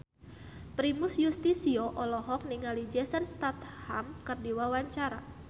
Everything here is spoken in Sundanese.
Primus Yustisio olohok ningali Jason Statham keur diwawancara